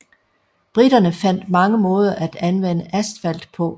Briterne fandt mange måder at anvende asfalt på